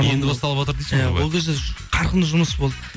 енді басталватыр дейсіз ғой иә ол кезде қарқынды жұмыс болды